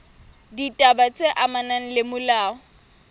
ditaba tse amanang le molao